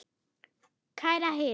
Kæra hirð.